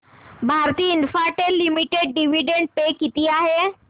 Bharti Infratel limited dividend pay किती आहे